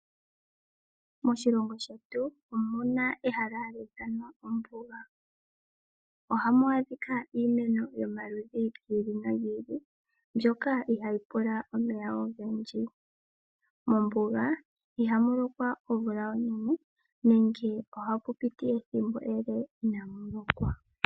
Moshilongo shetu omuna ehala hali ithanwa ombuga. Ohamu adhika iimeno yomaludhi gi ili nogi ili, mbyoka ihaayi pula omeya ogendji. Mombuga ihamu lokwa omvula onene, nenge ohapu piti ethimbo ele inaamu lokwa.